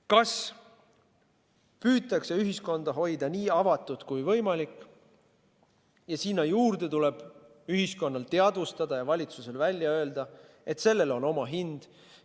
Kui püütakse ühiskonda hoida nii avatud kui võimalik, siis tuleb ühiskonnal teadvustada ja valitsusel välja öelda, et sellel on oma hind.